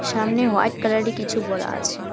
সামনে হোয়াইট কালারে কিছু বরা আছে।